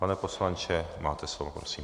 Pane poslanče, máte slovo, prosím.